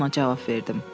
Ona cavab verdim.